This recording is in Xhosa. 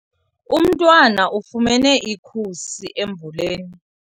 Umntwana ufumene ikhusi emvuleni.